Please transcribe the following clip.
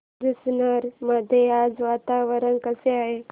जुन्नर मध्ये आज वातावरण कसे आहे